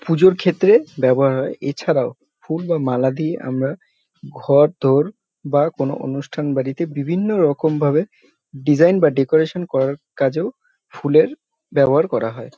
পুজোর ক্ষেএে ব্যবহার হয় এছাড়াও ফুল বা মালা দিয়ে আমরা ঘর ধর বা কোন অনুষ্ঠান বাড়িতে বিভিন্ন রকম ভাবে ডিজাইন বা ডেকোরেশন করা কাজেও ফুলের ব্যবহার করা হয়।